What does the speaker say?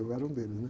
Eu era um deles, né?